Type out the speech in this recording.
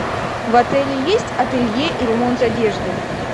в отеле есть ателье и ремонт одежды